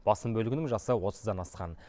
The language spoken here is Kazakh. басым бөлігінің жасы отыздан асқан